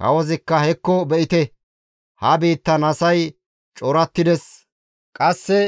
Kawozikka, «Hekko be7ite, ha biittan asay corattides; qasse